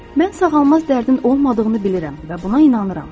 Mən sağalmaz dərdin olmadığını bilirəm və buna inanıram.